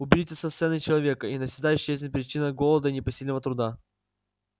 уберите со сцены человека и навсегда исчезнет причина голода и непосильного труда